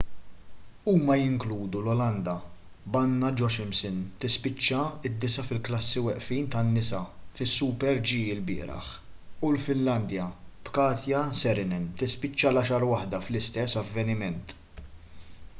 huma jinkludu l-olanda b'anna jochemsen tispiċċa d-disa' fil-klassi weqfin tan-nisa fis-super-g lbieraħ u l-finlandja b'katja saarinen tispiċċa l-għaxar waħda fl-istess avveniment